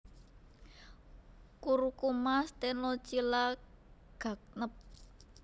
Curcuma stenochila Gagnep